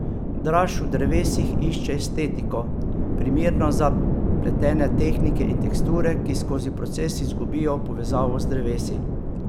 Draž v drevesih išče estetiko, primerno za pletene tehnike in teksture, ki skozi proces izgubijo povezavo z drevesi.